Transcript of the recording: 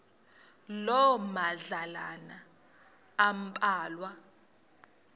loo madlalana ambalwa